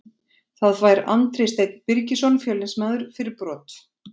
Það fær Andri Steinn Birgisson Fjölnismaður fyrir brot.